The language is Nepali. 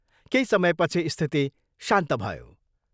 केही समयपछि स्थिति शान्त भयो।